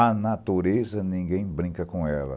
A natureza, ninguém brinca com ela.